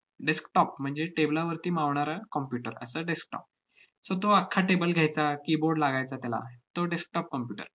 desktop म्हणजे table वरती मावणारा computer असा desktop. so तो अख्खा table घ्यायचा, keyboard लागायचा त्याला, तो desktop computer